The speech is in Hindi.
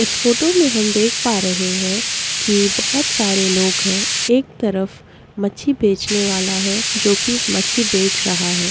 इस फोटो में हम देख पा रहे है की बहोत सारे लोग है एक तरफ मछली बेचने वाला है जो की मछ्छी बेच रहा है।